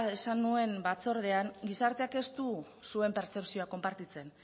esan nuen batzordean gizarteak ez du zuen pertzepzioa konpartitzen